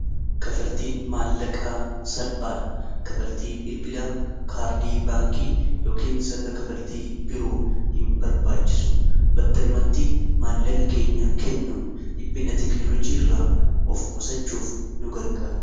kafaltiin maallaqaa salphaadha kafaltii bilbilaa kaardii baankii yookin sirna kafaltii biroo hin barbaachisu battalumatti maallaqa kennuun dhiphinna teknolojii irraa of qusachuuf nu gargaara